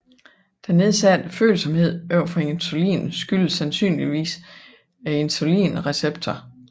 Den nedsatte følsomhed over for insulin skyldes sandsynligvis insulinreceptoren